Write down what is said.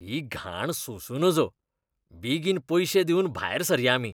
ही घाण सोसूं नजो. बेगीन पयशे दिवन भायर सरया आमी.